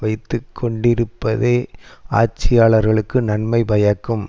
வைத்து கொண்டிருப்பதே ஆட்சியாளர்களுக்கு நன்மை பயக்கும்